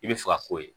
I bɛ fɛ ka k'o ye